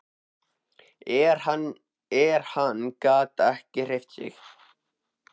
En hann gat ekki hreyft sig.